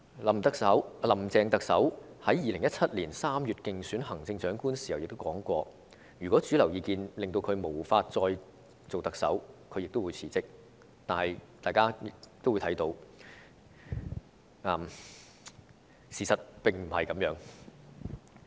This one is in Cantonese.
"林鄭"特首在2017年3月競選行政長官時曾經指出，如果主流民意令她無法再出任特首，她會辭職，但大家都看到，事實並非如此。